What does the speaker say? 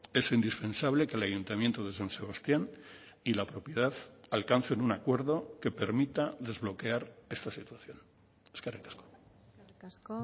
es indispensable que el aayuntamiento de san sebastián y la propiedad alcancen un acuerdo que permita desbloquear esta situación eskerrik asko eskerrik asko